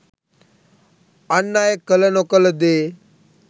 අන් අය කළ නොකළ දේ